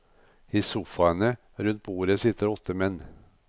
I sofaene rundt bordet sitter åtte menn.